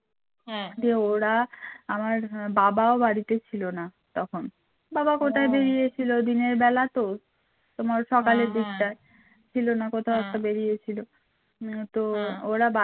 আমার বাবাও বাড়ীতে ছিল না তখন বাবা কোথায় বেরিয়েছিল দিনের বেলায় তো । তোমার সকালের দিকটায় ছিল না কোথাও একটু বেরিয়েছিল হম তোরা